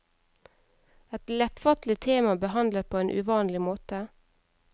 Et lettfattelig tema behandlet på en uvanlig måte.